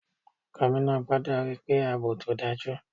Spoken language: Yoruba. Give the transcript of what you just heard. Gómìnà gbọ́dọ̀ ríi pé àbò tó dájú.